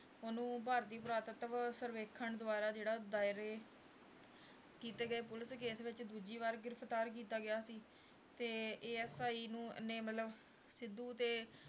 ਉਹਨੂੰ ਭਾਰਤੀ ਪੁਰਾਤੱਤਵ ਸਰਵੇਖਣ ਦੁਆਰਾ ਦਾਇਰੇ ਕੀਤੇ ਗਏ ਪੁਲਿਸ case ਵਿੱਚ ਦੂਜੀ ਵਾਰ ਗ੍ਰਿਫਤਾਰ ਕੀਤਾ ਗਿਆ ਸੀ, ਤੇ ASI ਨੂੰ ਨੇ ਮਤਲਬ ਸਿੱਧੂ 'ਤੇ